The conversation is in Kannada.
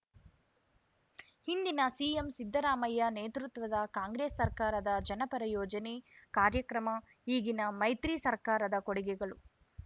ಹಿಂದಿನ ಸಿಎಂ ಸಿದ್ದರಾಮಯ್ಯ ನೇತೃತ್ವದ ಕಾಂಗ್ರೆಸ್‌ ಸರ್ಕಾರದ ಜನಪರ ಯೋಜನೆ ಕಾರ್ಯಕ್ರಮ ಈಗಿನ ಮೈತ್ರಿ ಸರ್ಕಾರದ ಕೊಡುಗೆಗಳು